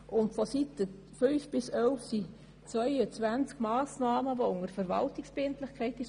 Auf den Seiten 5í11 sind 22 Massnahmen unter Verwaltungsverbindlichkeit aufgeführt.